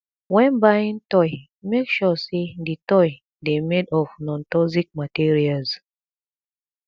when buying toy make sure sey di toy dey made of nontoxic materials